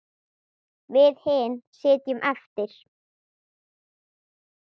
Við hin sitjum eftir.